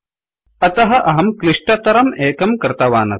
अतः अहं क्लिष्टतरं एकं कृतवानस्मि